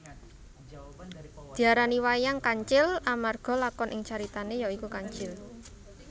Diarani wayang kancil amarga lakon ing caritane ya iku kancil